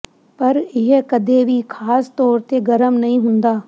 ਪਰ ਇਹ ਕਦੇ ਵੀ ਖਾਸ ਤੌਰ ਤੇ ਗਰਮ ਨਹੀਂ ਹੁੰਦਾ